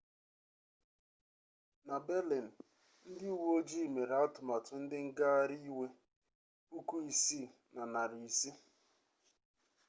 na berlin ndị uwe ojii mere atụmatụ ndị ngaghari iwe 6500